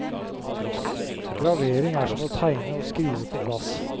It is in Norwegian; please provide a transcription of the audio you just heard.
Gravering er som å tegne og skrive på glass.